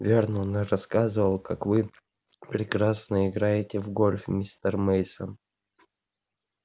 вернон рассказывал как вы прекрасно играете в гольф мистер мейсон